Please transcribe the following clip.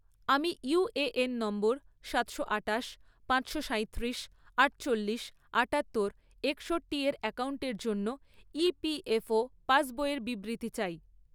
আমি UAN number সাতশো আঠাশ, পাঁচশো সাইত্রিশ, আটচল্লিশ, আটাত্তর, একষট্টি এর অ্যাকাউন্টের জন্য ইপিএফও ​পাসবইয়ের বিবৃতি চাই